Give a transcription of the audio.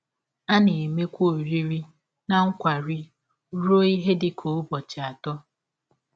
A na - emekwa ọrịrị na nkwari rụọ ihe dị ka ụbọchị atọ.